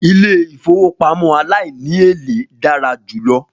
Ilé ìfowópamọ́ aláìníèlé dára jù lọ